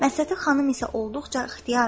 Məsləti xanım isə olduqca ixtiyardır.